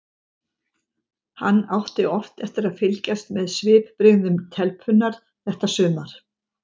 Hann átti oft eftir að fylgjast með svipbrigðum telpunnar þetta sumar.